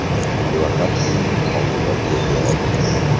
Advokat uyining oldida qo‘lga olindi.